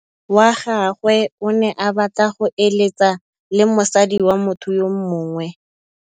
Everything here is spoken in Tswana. Monna wa gagwe o ne a batla go êlêtsa le mosadi wa motho yo mongwe.